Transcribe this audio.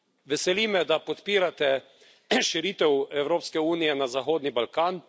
Veseli me, da podpirate širitev Evropske unije na Zahodni Balkan.